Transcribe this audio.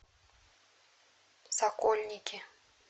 сокольники